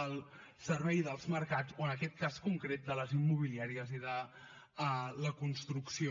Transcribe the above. al servei dels mercats o en aquest cas concret de les immobiliàries i de la construcció